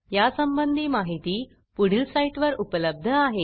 यासंबंधी माहिती पुढील साईटवर उपलब्ध आहे